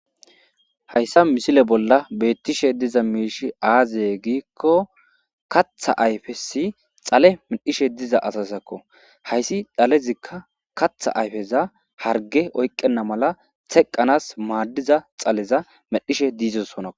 Hayssa misile bolla beetishe dizayi aaze gizayssa giiko kaththa ayfesi dhale medhdhishe de'iza asazakko. Hayssi dhalezikka kaththa ayfeza hargey oykkena mala teqqanasi maadiza dhaleza medhdheshe de'osonna.